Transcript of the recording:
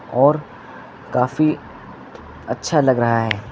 और काफी अच्छा लग रहा है।